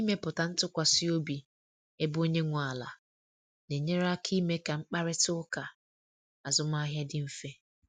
Ịmepụta ntụkwasị obi ebe onye nwe ala na enyere aka ime ka mkparịta ụka azụmahịa dị mfe